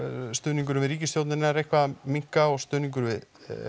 stuðningur við ríkisstjórnina er eitthvað að minnka og stuðningur við